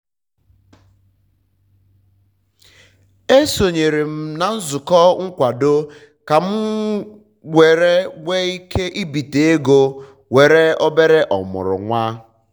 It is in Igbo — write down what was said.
um e sonyere m na nzụkọ nkwado ka m nwere ike ibite ego nwere um obere um omụrụ nwa